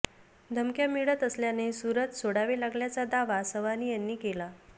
धमक्या मिळत असल्याने सुरत सोडावे लागल्याचा दावा सवानी याने केला